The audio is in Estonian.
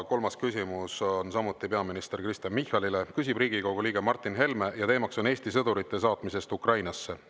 Kolmas küsimus on samuti peaminister Kristen Michalile, küsib Riigikogu liige Martin Helme ja teemaks on Eesti sõdurite saatmisest Ukrainasse.